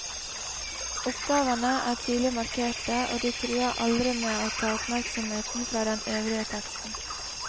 Oppgavene er tydelig markerte, og de truer aldri med å ta oppmerksomheten fra den øvrige teksten.